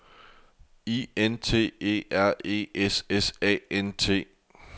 I N T E R E S S A N T